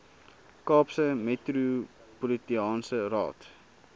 kaapse metropolitaanse raad